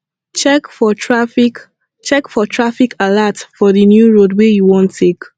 check for traffic check for traffic alert for di new road wey you wan take